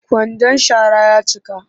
Kwandan shara ya cika